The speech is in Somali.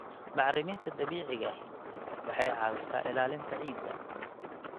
Bacriminta dabiiciga ahi waxay caawisaa ilaalinta ciidda.